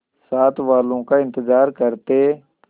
साथ वालों का इंतजार करते